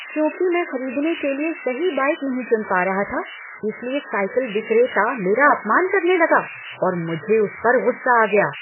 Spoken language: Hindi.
चूंकि मैं खरीदने के लिए सही बाइक नहीं चुन पा रहा था इसलिए साइकिल विक्रेता मेरा अपमान करने लगा और मुझे उस पर गुस्सा आ गया।